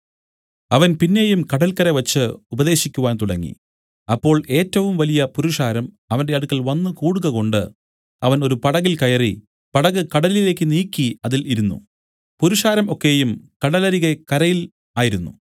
അവൻ പിന്നെയും കടല്ക്കരെവച്ച് ഉപദേശിക്കുവാൻ തുടങ്ങി അപ്പോൾ ഏറ്റവും വലിയ പുരുഷാരം അവന്റെ അടുക്കൽ വന്നു കൂടുകകൊണ്ട് അവൻ ഒരു പടകിൽ കയറി പടക് കടലിലേക്ക് നീക്കി അതിൽ ഇരുന്നു പുരുഷാരം ഒക്കെയും കടലരികെ കരയിൽ ആയിരുന്നു